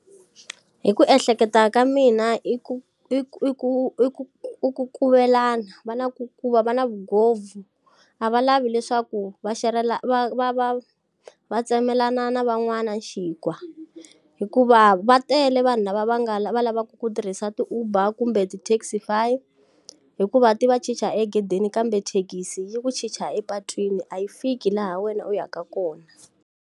Hi ku ehleketa ka mina i ku i ku i ku i ku i ku kuvelana va na ku va na vugovhu. A va lavi leswaku va xerhela va va va va tsemelana na van'wana xinkwa. Hikuva va tele vanhu lava va nga lavaka ku tirhisa ti-Uber kumbe ti-Taxiy, hikuva ti va chicha egedeni kambe thekisi yi ku chicha epatwini a yi fiki laha wena u ya ka kona.